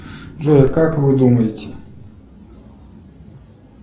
джой а как вы думаете